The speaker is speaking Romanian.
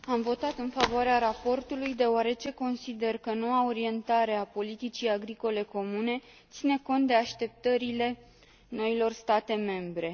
Am votat în favoarea raportului, deoarece consider că noua orientare a politicii agricole comune ține cont de așteptările noilor state membre.